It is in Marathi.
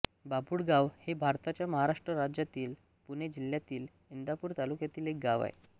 बाभुळगाव हे भारताच्या महाराष्ट्र राज्यातील पुणे जिल्ह्यातील इंदापूर तालुक्यातील एक गाव आहे